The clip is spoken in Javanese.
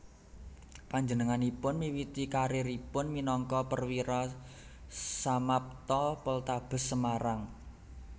Panjenenganipun miwiti kariéripun minangka Perwira Samapta Poltabes Semarang